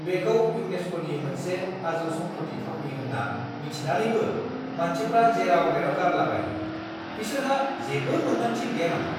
बेखौ इउनेस्क'नि मोनसे आजौ-सम्फथि थावनि होनना मिथिनानैबो मानसिफ्रा जेराव-मेराव गारलाबायो! बिसोरहा जेबो मोनदांथि गैया नामा?